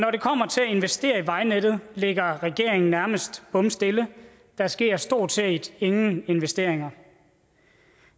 investere i vejnettet ligger regeringen nærmest bomstille der sker stort set ingen investeringer